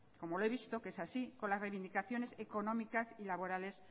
como lo he visto que es así con las reivindicaciones económicas y laborales